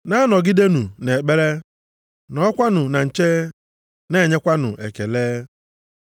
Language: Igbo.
Na-anọgidenụ nʼekpere, nọọkwanụ na nche na-enyekwanụ ekele.